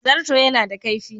Zarto yana da kaifi.